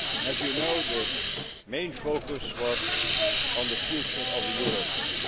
As you know, the main focus was on the future of the eurozone.